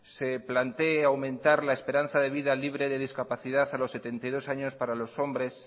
se plantee aumentar la esperanza de vida libre de discapacidad a los setenta y dos años para los hombres